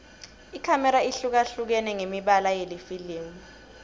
ikhamera ihlukahlukene ngemibala yelifilimu